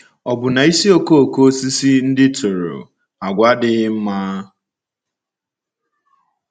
Ọ̀ bụ na ísì okooko osisi ndị tụrụ àgwà adịghị mma?